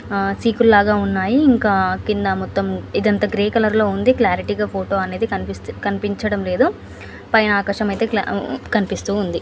చికుల్లాగా ఉన్నాయి. ఇంకా క్రింద మొత్తం ఇదంతా గ్రెయ్ కలర్ క్లారిటీగా ఫోటో అనేది కనిపించడంలేదు. పైన ఆకాశం ఐతే కనబడుతుంది.